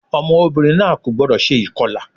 Ọmọbìnrin náà kò gbọ́dọ̀ se ìkọlà